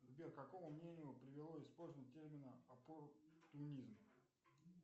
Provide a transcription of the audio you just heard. сбер к какому мнению привело использование термина оппортунизм